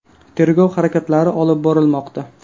Tergov harakatlari olib borilmoqda.